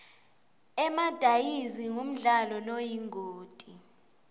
emadayizi ngumdlalo loyingoti